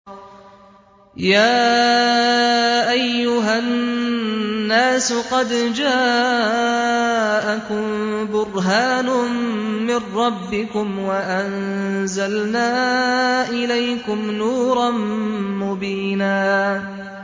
يَا أَيُّهَا النَّاسُ قَدْ جَاءَكُم بُرْهَانٌ مِّن رَّبِّكُمْ وَأَنزَلْنَا إِلَيْكُمْ نُورًا مُّبِينًا